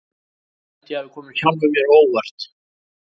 Ég held að ég hafi komið sjálfum mér á óvart.